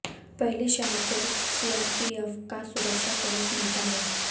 पहले शाह को सीआरपीएफ का सुरक्षा कवच मिलता है